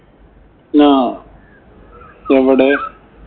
ആഹ് എവടെ?